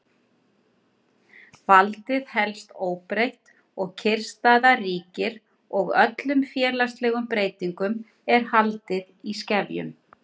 Valdið helst óbreytt, kyrrstaða ríkir og öllum félagslegum breytingum er haldið í skefjum.